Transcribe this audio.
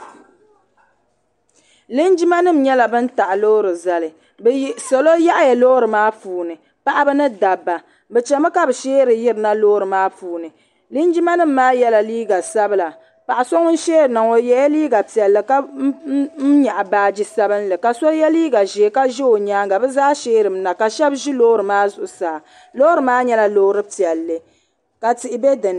Linjimanima nyɛla ban n-taɣi loori zali salo yaɣiya loori maa puuni paɣiba ni dabba bɛ chemi ka bɛ sheeri yirina loori maa puuni linjimanima maa yela liiga sabila paɣa so ŋun sheeri na ŋɔ o yela liiga piɛlli ka nyaɣi baaji sabinli ka so ye liiga ʒee ka ʒe o nyaaŋa bɛ zaa sheerimi na ka shɛba ʒi loori maa zuɣusaa loori maa nyɛla loori piɛlli ka tihi be dini.